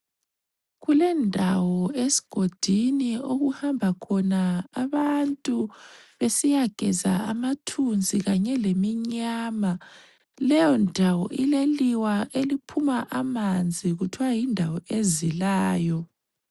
Kulendawo esigodini okuhamba khona abantu besiyageza amathunzi kanye leminyama. Leyondawo ileliwa eliphuma amanzi, kuthiwa yindawo ezilayo.